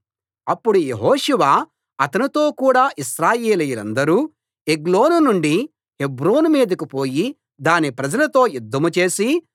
అప్పుడు యెహోషువ అతనితో కూడా ఇశ్రాయేలీయులందరూ ఎగ్లోను నుండి హెబ్రోను మీదికి పోయి దాని ప్రజలతో యుద్ధం చేసి